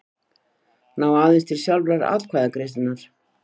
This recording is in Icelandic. ná aðeins til sjálfrar atkvæðagreiðslunnar.